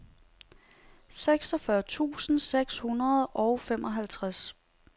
seksogfyrre tusind seks hundrede og femoghalvtreds